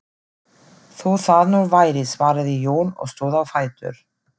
Þó það nú væri, svaraði Jón og stóð á fætur.